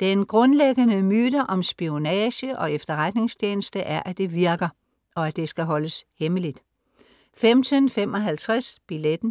Den grundlæggende myte om spionage og efterretningstjeneste er, at det virker, og at det skal holdes hemmeligt 15:55 Billetten